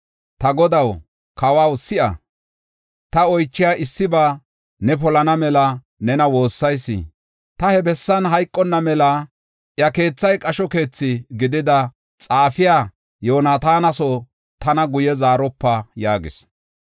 Ta godaw, kawaw, si7a; ta oychiya issiba ne polana mela nena woossayis. Ta he bessan hayqonna mela iya keethay qasho keethi gidida xaafiya Yoonataana soo tana guye zaaropa” yaagis.